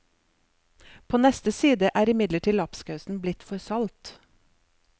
På neste side er imidlertid lapskausen blitt for salt.